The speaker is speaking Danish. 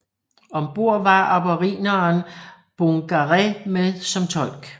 Ombord var aborigineren Bungaree med som tolk